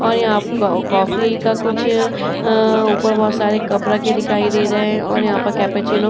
और यहाँ कॉफ़ी का कुछ अम्म ऊपर बहोत सारे कप रखे दिखाई दे रहे हैं और यहाँ पर कैपेचीनो --